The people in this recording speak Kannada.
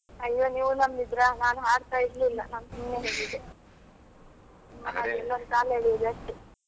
ಅಯ್ಯೋ ನೀವು ನಂಬಿದ್ರ ನಾನು ಹಾಡ್ತಾ ಇರಲಿಲ್ಲ ನಾನು ಸುಮ್ನೆ ಹೇಳಿದ್ದೆ ನಿಮ್ಮ ಹಾಗೆ ಎಲ್ಲರು ಕಾಲ್ ಎಳಿಯೋದು ಅಷ್ಟೇ.